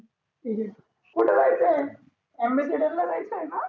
त्याची कुठ जायचं आहे? अंबेसीडर ला जायचं आहेना?